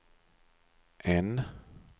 N